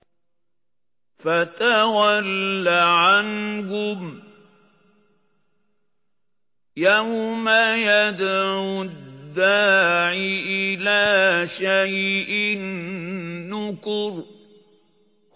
فَتَوَلَّ عَنْهُمْ ۘ يَوْمَ يَدْعُ الدَّاعِ إِلَىٰ شَيْءٍ نُّكُرٍ